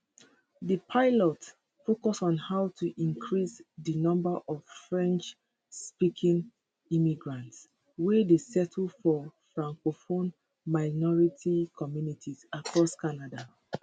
dis pilot focus on how to increase di number of frenchspeaking immigrants wey dey settle for francophone minority communities across canada